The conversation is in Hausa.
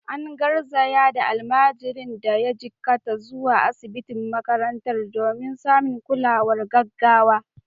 An garzaya da almajirin da ya jikkata zuwa asibitin makarantar domin samun kulawar gaggawa.